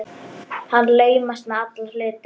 Hann laumast með alla hluti.